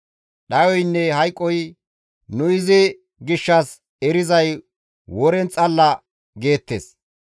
Dhayoynne hayqoy, ‹Nu izi gishshas erizay woren xalla› geettes.